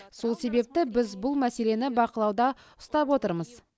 сол себепті біз бұл мәселені бақылауда ұстап отырмыз